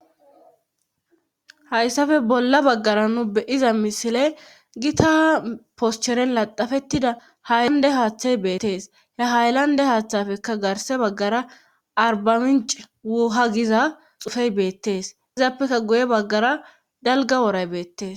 Hayssafe bolla baggara nu beyiza misile gita poscheren laxafettida haaylande haaththay beettees he haylande haaththafekka garse baggara arbaminc wuha giza xufey beettees izaappekka guye baggara dalga woray beettees